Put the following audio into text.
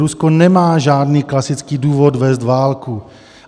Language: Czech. Rusko nemá žádný klasický důvod vést válku.